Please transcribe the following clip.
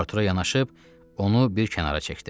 Artura yanaşıb onu bir kənara çəkdi.